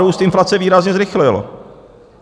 Růst inflace výrazně zrychlil.